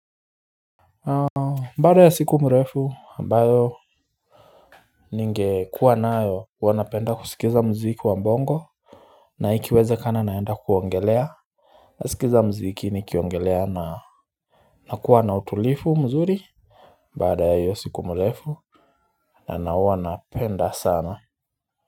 Baada ya siku mrefu ambayo Ningekuwa nayo wanapenda kusikiza muziki wa bongo Naikiwezekana naenda kuogelea nasikiza mziki ni kiogelea na nakuwa na utulifu mzuri baada ya hiyo siku mrefu na na wa naapenda sana.